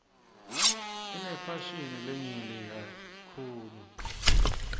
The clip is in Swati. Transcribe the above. inefashini lenyenti kakitulu